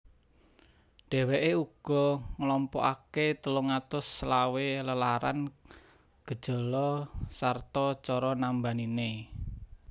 Dheweke uga nglompokake telung atus selawe lelaran gejala sarta cara nambanine